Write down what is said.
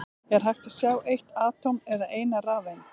Er hægt að sjá eitt atóm eða eina rafeind?